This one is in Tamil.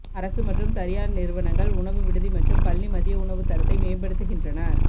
அரசு மற்றும் தனியார் நிறுவனங்கள் உணவு விடுதி மற்றும் பள்ளி மதிய உணவு தரத்தை மேம்படுத்துகின்றன